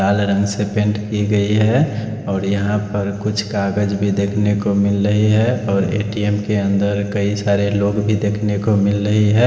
लाल रंग से पैंट की गयी है और यहाँ पर कुछ कागज भी देख ने को मिल रहे है और ए टी एम् के अंदर कई सारे लोग भी देख ने को मिल रही है ।